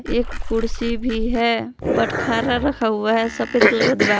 एक कुर्सी भी है बटखरा रखा हुआ है सफेद कलर का दीवार--